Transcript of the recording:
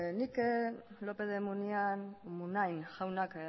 nik lópez de munain jaunak